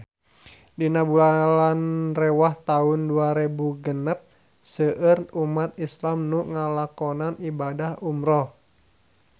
Dina bulan Rewah taun dua rebu genep seueur umat islam nu ngalakonan ibadah umrah